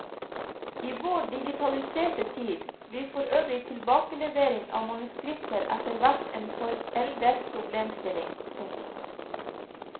I vår digitaliserte tid blir for øvrig tilbakelevering av manuskripter etter hvert en foreldet problemstilling. punktum